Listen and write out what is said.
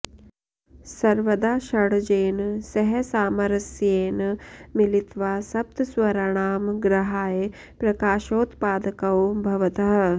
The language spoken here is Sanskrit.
सर्वदा षड्जेन सह सामरस्येन मिलित्वा सप्तस्वराणां गृहाय प्रकाशोत्पादकौ भवतः